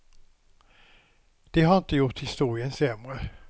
Det har inte gjort historien sämre.